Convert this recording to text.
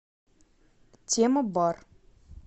темабар